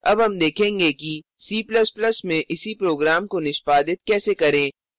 अब हम देखेंगे कि c ++ में इसी program को निष्पादित कैसे करें